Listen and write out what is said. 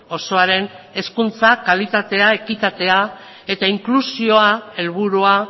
osoaren hezkuntza kalitatea ekitatea eta inklusioa helburua